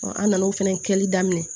an nan'o fana kɛli daminɛ